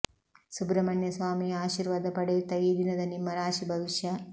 ಸುಬ್ರಮಣ್ಯ ಸ್ವಾಮಿಯ ಆಶಿರ್ವಾದ ಪಡೆಯುತ್ತಾ ಈ ದಿನದ ನಿಮ್ಮ ರಾಶಿ ಭವಿಷ್ಯ